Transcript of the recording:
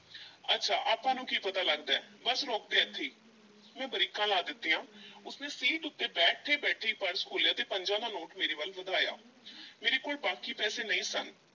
ਅੱਛਾ ਆਪਾਂ ਨੂੰ ਕੀ ਪਤਾ ਲੱਗਦਾ ਹੈ, ਬੱਸ ਰੋਕ ਦੇ ਏਥੇ ਈ, ਮੈਂ ਬ੍ਰੇਕਾਂ ਲਾ ਦਿੱਤੀਆਂ ਉਸ ਨੇ ਸੀਟ ਉੱਤੇ ਬੈਠੇ-ਬੈਠੇ ਈ ਪਰਸ ਖੋਲ੍ਹਿਆ ਤੇ ਪੰਜਾਂ ਦਾ ਨੋਟ ਮੇਰੇ ਵੱਲ ਵਧਾਇਆ ਮੇਰੇ ਕੋਲ ਬਾਕੀ ਪੈਸੇ ਨਹੀਂ ਸਨ।